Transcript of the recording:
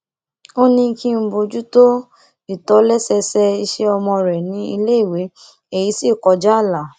ó ní kí n bojútó ìtọ́lésẹẹsẹ iṣẹ ọmọ rẹ ní iléèwé èyí sì kọjá ààlà